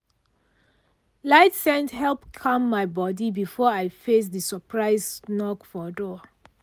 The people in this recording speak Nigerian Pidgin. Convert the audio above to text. light scent help calm my body before i face the surprise knock for door.